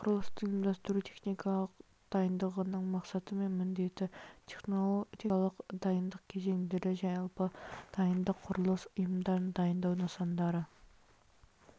құрылыстың ұйымдастыру техникалық дайындығының мақсаты мен міндеті техникалық дайындық кезеңдері жалпы дайындық құрылыс ұйымдарын дайындау нысандарды